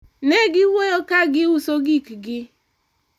ne giwuoyo ka giuso gik gi